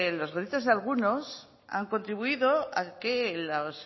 los gritos de algunos han contribuido a que las